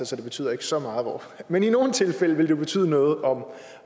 så det betyder ikke så meget men i nogle tilfælde vil det jo betyde noget